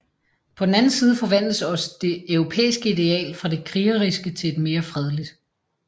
På den anden side forvandles også det europæiske ideal fra det krigerske til et mere fredeligt